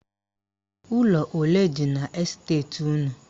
Ụlọ ole dị n' esteti unu?